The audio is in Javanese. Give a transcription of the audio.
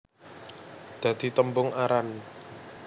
Dadi tembung aran